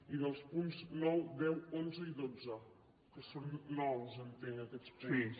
i dels punts nou deu onze i dotze que són nous entenc aquests punts